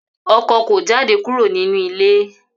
Ọkọ ko jáde kúrò nínú ilé.